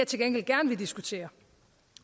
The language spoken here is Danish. til gengæld gerne vil diskutere